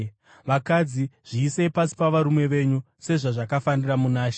Vakadzi, zviisei pasi pavarume venyu, sezvazvakafanira muna She.